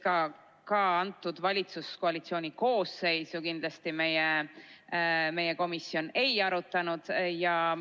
Aga ka valitsuskoalitsiooni koosseisu kindlasti meie komisjon ei arutanud.